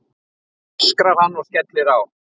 öskrar hann og skellir á.